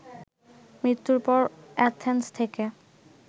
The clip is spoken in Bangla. মৃত্যুর পর অ্যাথেন্স থেকে